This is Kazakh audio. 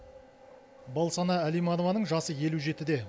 балсана әлиманованың жасы елу жетіде